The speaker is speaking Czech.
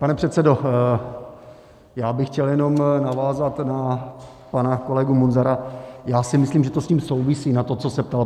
Pane předsedo, já bych chtěl jenom navázat na pana kolegu Munzara, já si myslím, že to s tím souvisí, na to, co se ptal.